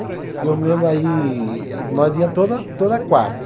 E eu mesmo aí, nós ia toda toda quarta.